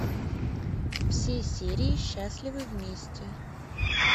все серии счастливы вместе